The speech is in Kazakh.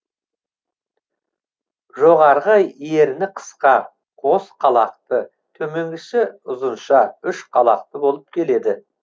жоғарғы ерні қысқа қос қалақты төменгісі ұзынша үш қалақты болып келеді